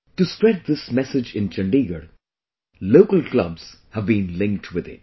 To spread this message in Chandigarh, Local Clubs have been linked with it